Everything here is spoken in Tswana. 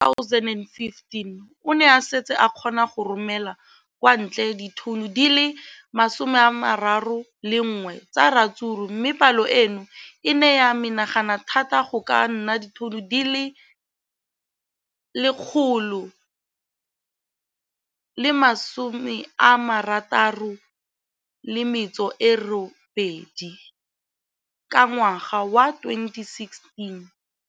Ka ngwaga wa 2015, o ne a setse a kgona go romela kwa ntle ditone di le 31 tsa ratsuru mme palo eno e ne ya menagana thata go ka nna ditone di le 168 ka ngwaga wa 2016.